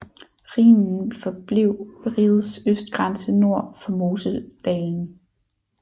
Rhinen forblev rigets østgrænse nord for Moseldalen